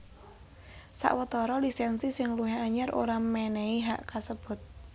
Sawetara lisènsi sing luwih anyar ora mènèhi hak kasebut